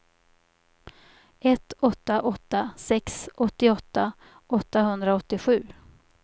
ett åtta åtta sex åttioåtta åttahundraåttiosju